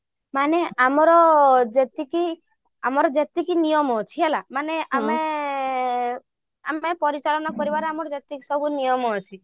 ମାନେ ଆମର ଯେତିକି ଆମର ଯେତିକି ନିୟମ ଅଛି ହେଲା ମାନେ ଆମେ ଆଁ ଆମେ ପରିଚାଳନା କରିବାର ଯେତିକି ସବୁ ନିୟମ ଅଛି